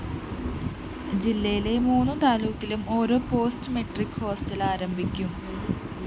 ജില്ലയിലെ മൂന്ന് താലൂക്കിലും ഓരോ പോസ്റ്റ്‌മെട്രിക് ഹോസ്റ്റൽ ആരംഭിക്കും